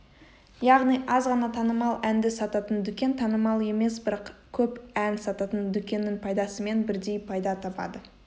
яғни аз ғана танымал әнді сататын дүкен танымал емес бірақ көп ән сататын дүкеннің пайдасымен бірдей пайда табады